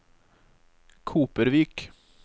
Kopervik